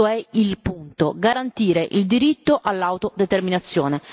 Questo è il punto garantire il diritto all'autodeterminazione.